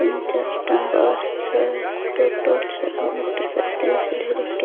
तीन चार टा बस छै टोटो छै मोटरसाइकिल छै ढेरीके।